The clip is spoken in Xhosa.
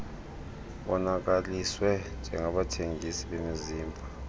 bonakaliswe njengabathengisi bemizimba